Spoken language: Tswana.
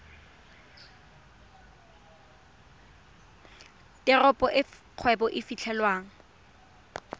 teropo e kgwebo e fitlhelwang